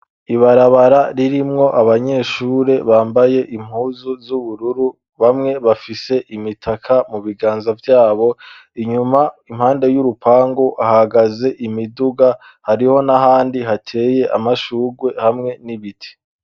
Ibarabara ririmwo abanyeshure bambaye impuzu z'ubururu, bamwe bafise imitaka mu biganza vyabo, inyuma impande y'urupangu hahagaze imiduga, hariho n'ahandi hateye amashurwe hamwe n'ibiti.